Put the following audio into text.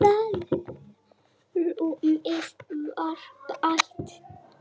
Rúmið var bælt.